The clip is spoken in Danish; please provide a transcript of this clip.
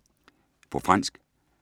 På fransk